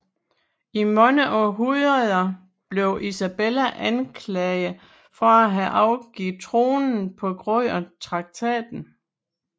I mange århundreder blev Isabella anklaget for at have afgivet kronen på grund af traktaten